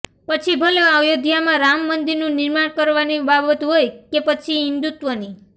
પછી ભલે અયોધ્યામાં રામ મંદિરનું નિર્માણ કરવાની બાબત હોય કે પછી હિન્દુત્વની